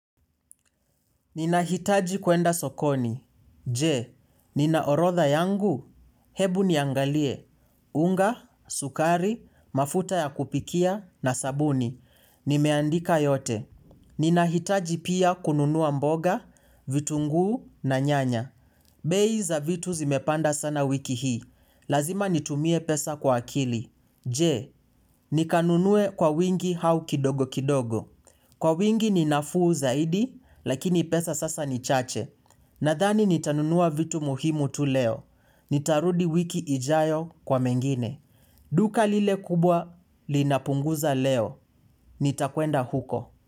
Ninahitaji kwenda sokoni. Je, nina orodha yangu. Hebu niangalie. Unga, sukari, mafuta ya kupikia na sabuni. Nimeandika yote. Ninahitaji pia kununua mboga, vitunguu na nyanya. Bei za vitu zimepanda sana wiki hii. Lazima nitumie pesa kwa akili. Je, nikanunue kwa wingi hau kidogo kidogo. Kwa wingi ni nafuu zaidi, lakini pesa sasa ni chache. Nadhani nitanunua vitu muhimu tu leo. Nitarudi wiki ijayo kwa mengine. Duka lile kubwa linapunguza leo. Nitakwenda huko.